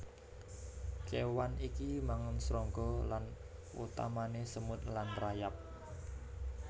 Kéwan iki mangan srangga lan utamané semut lan rayap